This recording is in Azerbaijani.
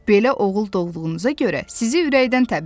Belə oğul doğduğunuza görə sizi ürəkdən təbrik edirəm.